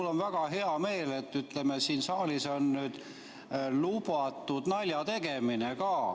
Mul on väga hea meel, et siin saalis on lubatud ka naljategemine.